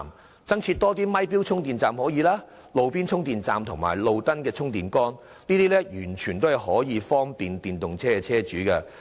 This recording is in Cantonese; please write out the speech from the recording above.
當局亦可考慮增設"咪錶充電站"、"路邊充電站"及"路燈充電杆"，這些措施均可方便電動車車主。